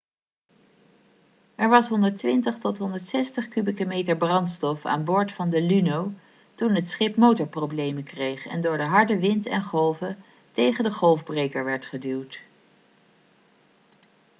er was 120-160 kubieke meter brandstof aan boord van de luno toen het schip motorproblemen kreeg en door de harde wind en golven tegen de golfbreker werd geduwd